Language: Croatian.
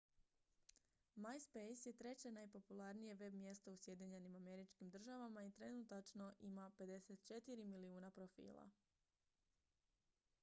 myspace je treće najpopularnije web-mjesto u sjedinjenim američkim državama i trenutačno ima 54 milijuna profila